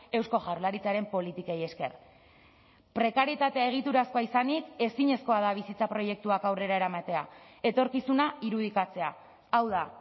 eusko jaurlaritzaren politikei esker prekarietatea egiturazkoa izanik ezinezkoa da bizitza proiektuak aurrera eramatea etorkizuna irudikatzea hau da